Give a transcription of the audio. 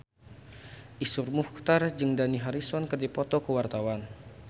Iszur Muchtar jeung Dani Harrison keur dipoto ku wartawan